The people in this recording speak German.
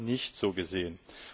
Wir haben sie nicht so gesehen.